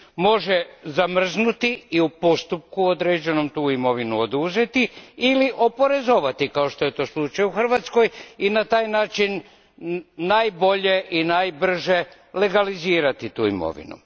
Može zamrznuti i u postupku određenom tu imovinu oduzeti ili oporezovati, kao što je to slučaj u Hrvatskoj, i na taj način najbolje i najbrže legalizirati tu imovinu.